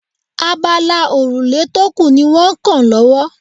Abala òrùlé tó kù ní wọ́n kan lọ́wọ́